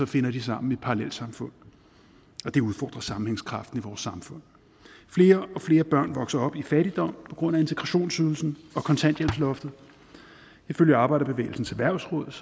finder de sammen i parallelsamfund og det udfordrer sammenhængskraften i vores samfund flere og flere børn vokser op i fattigdom på grund af integrationsydelsen og kontanthjælpsloftet ifølge arbejderbevægelsens erhvervsråd